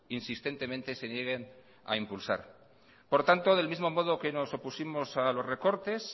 insistentemente se nieguen a impulsar por tanto del mismo modo que nos opusimos a los recortes